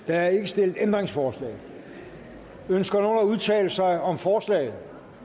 der er ikke stillet ændringsforslag ønsker nogen at udtale sig om forslaget